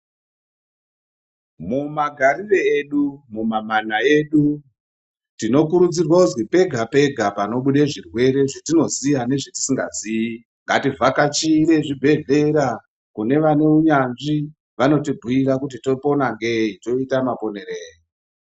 Mumagarire edu mumamana edu tinokurudzirwa kuzi pega pega panobude zvirwere zvatinoziya nezvetisongaziii ngativhakachire zvibhedhlera kune vanounyanzvi vanotibhiira kuti topona ngei toita maponerei.